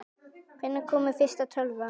Hvenær kom fyrsta tölvan?